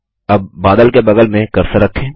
अब बादल के बगल में कर्सर रखें